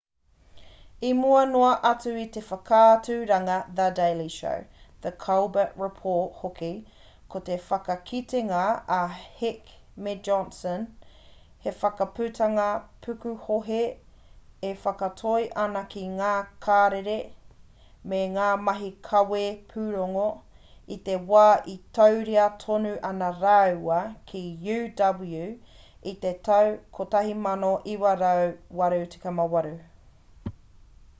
i mua noa atu i te whakaaturanga the daily show the colbert report hoki ko te whakakitenga a heck me johnson he whakaputanga pukuhohe e whakatoi ana ki ngā karere me ngā mahi kawe pūrongo i te wā e tauira tonu ana rāua ki uw i te tau 1988